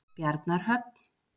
Bjarnarhöfn